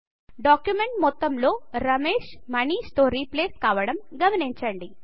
document మొత్తంలో రమేశ్ మనీష్ తో replace కావడం గమనించండి